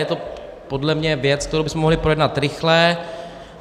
Je to podle mě věc, kterou bychom mohli projednat rychle.